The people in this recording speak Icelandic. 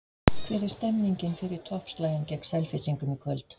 Hvernig er stemningin fyrir toppslaginn gegn Selfyssingum í kvöld?